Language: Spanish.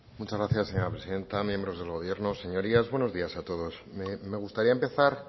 muchas gracias señora presidenta miembros del gobierno señorías buenos días a todos me gustaría empezar